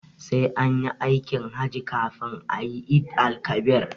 Sai anyi aikin hajji kafin ayi eid-el-kabir